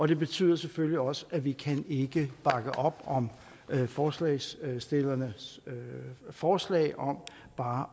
det betyder selvfølgelig også at vi ikke kan bakke op om forslagsstillernes forslag om bare